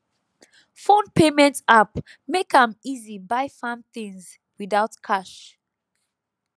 phone payment app make am easy buy farm things without cash